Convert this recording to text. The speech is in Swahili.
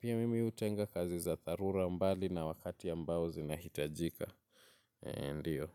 Pia mimi hutenga kazi za dharura mbali na wakati ambao zinahitajika. Ndiyo.